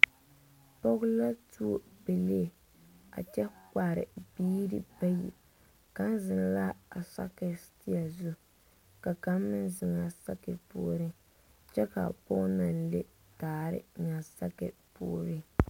̇Pɔgɔ la tuo pɛlei a kyɛ kpare biire bayi. Kang zeŋ la a sakir sitea zu. Ka kang meŋ zeŋ a sakir pooreŋ kyɛ ka a pɔgɔ na le daare eŋ a sakir pooreŋ.